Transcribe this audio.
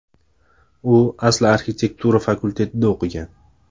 U asli arxitektura fakultetida o‘qigan.